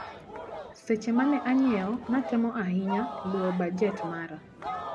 Seche mane anyiewo natemo ahinya luwo bajet mara.